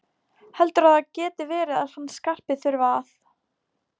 Heldurðu að það geti verið að hann Skarpi þurfi að.